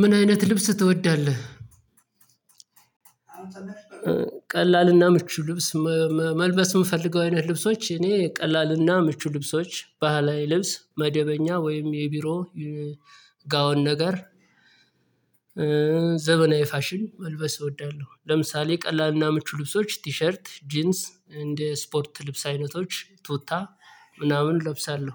ምን አይነት ልብስ ትወዳለህ? ቀላልና ምቹ ልብስ መልበስ የምፈልገው አይነት ልብሶች እኔ ቀላልና ምቹ ልብሶች ባህላዊ ልብስ መደበኛ ወይም የቢሮ ጋውን ነገር ዘመናዊ ፋሽን መልበስ እወዳለሁ። ለምሳሌ ቀላልና ምቹ ልብሶች ቲሸርት ጂንስ እንደ ስፖርት ልብስ አይነቶች ቱታ ምናምን እለብሳለሁ